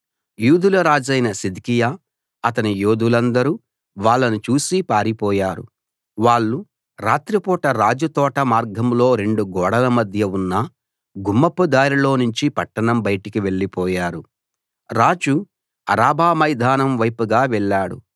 యూదుల రాజైన సిద్కియా అతని యోధులందరూ వాళ్ళను చూసి పారిపోయారు వాళ్ళు రాత్రిపూట రాజు తోట మార్గంలో రెండు గోడల మధ్య ఉన్న గుమ్మపు దారిలో నుంచి పట్టణం బయటకు వెళ్ళిపోయారు రాజు అరాబా మైదానం వైపుగా వెళ్ళాడు